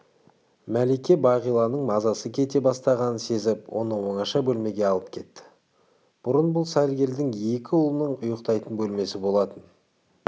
мәлике бағиланың мазасы кете бастағанын сезіп оны оңаша бөлмеге алып кетті бұрын бұл сәргелдің екі ұлының ұйықтайтын бөлмесі болатын